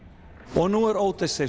og nú er